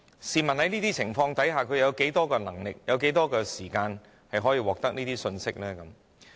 試問在這些情況下，他們有多少能力及有多少時間可以獲得這些信息呢？